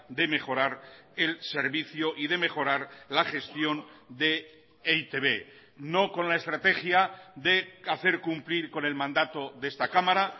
de mejorar el servicio y de mejorar la gestión de e i te be no con la estrategia de hacer cumplir con el mandato de esta cámara